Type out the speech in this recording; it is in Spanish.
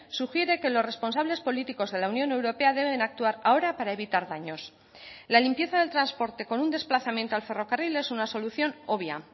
sugiere que los responsables políticos de la unión europea deben actuar ahora para evitar daños la limpieza del transporte con un desplazamiento al ferrocarril es una solución obvia